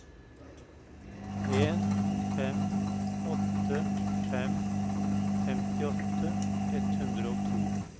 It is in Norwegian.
en fem åtte fem femtiåtte ett hundre og to